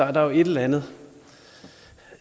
er der et eller andet